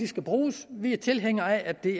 skal bruges vi er tilhængere af at det